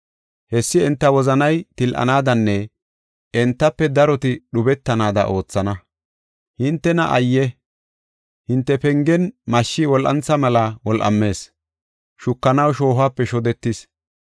Hessi enta wozanay til7anaadanne entafe daroti dhubetanaada oothana. Hintena ayye! Hinte pengen mashshi wol7antha mela wol7amees; shukanaw shoohope shodetis.